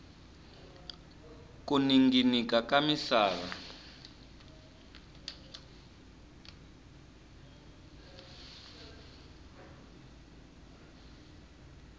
ku ninginika ka misava